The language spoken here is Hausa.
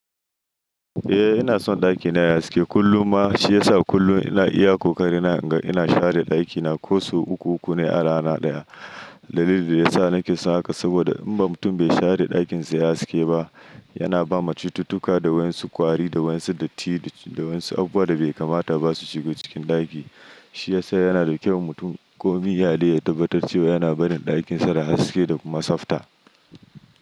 Eh ina son ɗakina yayi haske kullum ma shi yasa kullum ina iya ƙoƙari na, ina share ɗakina ko sau uku uku ne a rana ɗaya. Dalilin da yasa nake son haka saboda in ba mutum bai share ɗakinsa ya haske ba, yana bawa cututtuka da waɗansu kwari da waɗansu datti da waɗansu abubuwa da bai kamata basu shigo cikin ɗaki. Shi yasa yana da kyau mutum komi yaɗai ya tabbatar cewa yana barin ɗakinsa da haske da kuma tsafta.